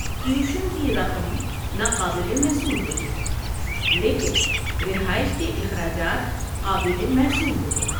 Tuition کی رقم ناقابل محصول ہوتی ہے، لیکن رہائش کے اخراجات قابل محصول ہوتے ہیں۔